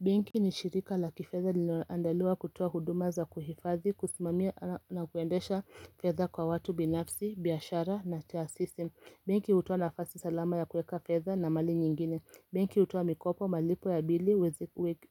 Benki ni shirika la kifedha linoandaliwa kutoa huduma za kuhifadhi, kusimamia na kuendesha fedha kwa watu binafsi, biashara na taasisi. Benki hutoa nafasi salama ya kueka fedha na mali nyingine. Benki hutoa mikopo, malipo ya bili,